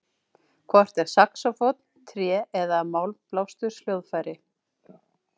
Hvort er saxófónn tré- eða málmblásturshljóðfæri?